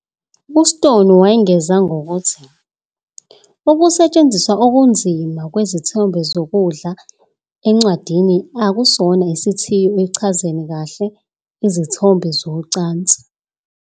"UStone wengeza ngokuthi "ukusetshenziswa okunzima kwezithombe zokudla encwadini akusona isithiyo ekuchazeni kahle"izithombe zocansi "."